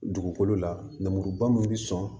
Dugukolo lamuruba min bi sɔn